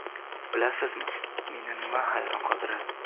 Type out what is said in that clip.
Bilasizmi, meni nima hayron qoldiradi?